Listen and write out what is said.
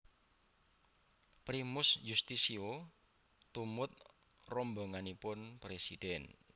Primus Yustisio tumut rombonganipun presiden